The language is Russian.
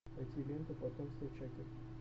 найти ленту потомство чаки